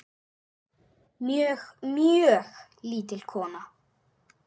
Mjög, mjög lítil kona.